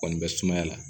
Kɔni bɛ sumaya la